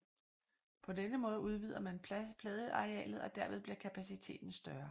På denne måde udvider man pladearealet og derved bliver kapaciteten større